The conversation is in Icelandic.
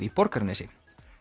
í Borgarnesi